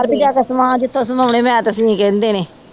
ਬਾਹਰ ਭਜਾਤਾ ਸਮਾਜ ਕਹਿੰਦੇ ਨੇ